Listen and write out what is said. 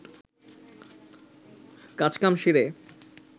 কাজ কাম সেরে